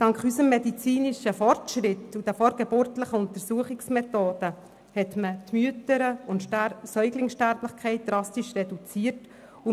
Dank unserem medizinischen Fortschritt und den vorgeburtlichen Untersuchungsmethoden konnten die Mütter- und die Säuglingssterblichkeit drastisch reduziert werden.